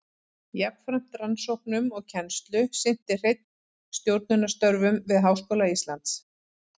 Jafnframt rannsóknum og kennslu sinnti Hreinn stjórnunarstörfum við Háskóla Íslands.